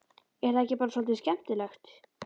Er það ekki bara svolítið skemmtilegt?